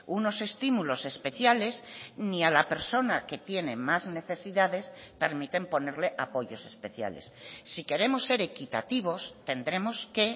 unos estímulos especiales ni a la persona que tiene más necesidades permiten ponerle apoyos especiales si queremos ser equitativos tendremos que